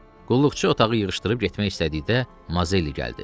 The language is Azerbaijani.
Qulluqçu otağı yığışdırıb getmək istədikdə Mazelli gəldi.